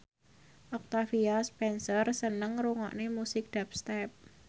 Octavia Spencer seneng ngrungokne musik dubstep